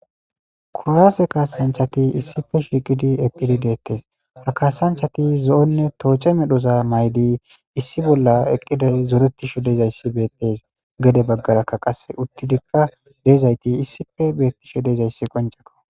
Kowaase kaasanchati issife shiiqidi eqqidi deettes ha kaasanchati zo7onne tooche medhoza maydi issi bolla eqqiday zoretisho dezayssi beettes gede baggarakka qasse uttidikka deezayti issife beettisho dezayssi qonceko.